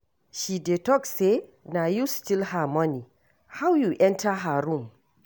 She dey talk say na you steal her money, how you enter her room?